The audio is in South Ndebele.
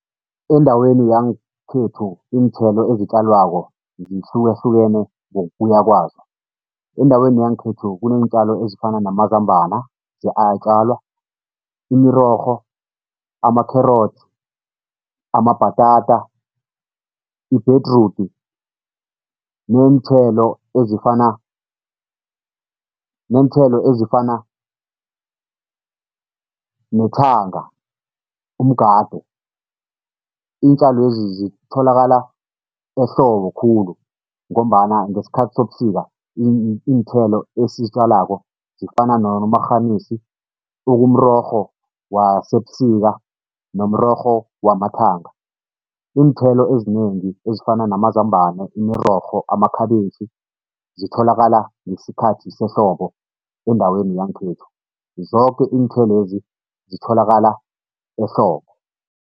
Endaweni yangekhethu iinthelo ezitjalwako zihlukahlukene kwazo. Endaweni yangekhethu kuneentjalo ezifana namazambana , imirorho, amakherotsi, amabhatata, ibhedrudi neenthelo ezifana neenthelo ezifana nethanga, umgade. Iintjalwezi zitholakala ehlobo khulu ngombana ngesikhathi sobusika, iinthelo esizitjalako zifana nomarhanisi okumrorho wasebusika, nomrorho wamathanga, iinthelo ezinengi ezifana namazambana, imirorho, amakhabitjhi, zitholakala ngesikhathi sehlobo endaweni yangekhethu, zoke iinthelo lezi zitholakala ehlobo.